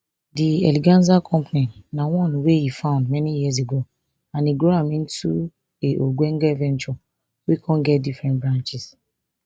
di eleganza company na one wey e found many years ago and e grow am into a ogbonge venture wey kon get different branches